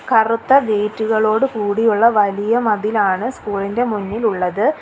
കറുത്ത ഗേറ്റുകളോട് കൂടി ഉള്ള വലിയ മതിലാണ് സ്കൂൾ ഇന്റെ മുന്നിലുള്ളത്.